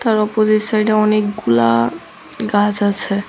তার অপজিট সাইডে অনেকগুলা গাছ আছে।